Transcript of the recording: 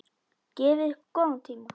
Gefið ykkur góðan tíma.